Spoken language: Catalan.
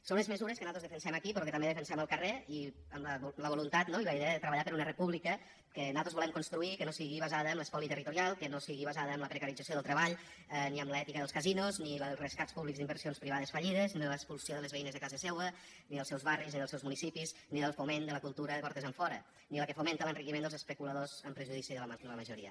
són unes mesures que nosaltres defensem aquí però que també defensem al carrer i amb la voluntat no i la idea de treballar per una república que nosaltres volem construir que no sigui basada en l’espoli territorial que no sigui basada en la precarització del treball ni amb l’ètica dels casinos ni la dels rescats públics d’inversions privades fallides ni la de l’expulsió de les veïnes de casa seua ni dels seus barris ni dels seus municipis ni del foment de la cultura de portes enfora ni la que fomenta l’enriquiment dels especuladors en perjudici de la majoria